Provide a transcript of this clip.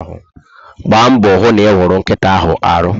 Mgba mbọ hụ na iwuru nkịta ahụ arụ